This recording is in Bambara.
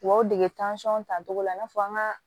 U ka aw dege tacogo la i n'a fɔ an ka